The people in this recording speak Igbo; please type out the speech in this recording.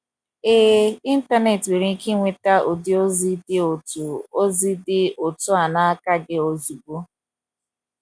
Ee, Ịntanet nwere ike iweta ụdị ozi dị otu ozi dị otu a n’aka gị ozugbo.